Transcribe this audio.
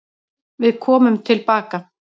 Við komum tilbaka.